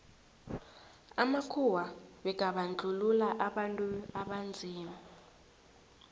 amakhuwa bekabandluua abantu abanzima